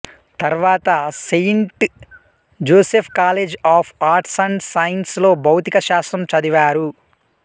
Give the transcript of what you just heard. తర్వాత Saint Joseph College of Arts and Science లో భౌతిక శాస్త్రం చదివారు